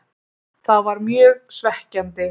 Það var mjög svekkjandi.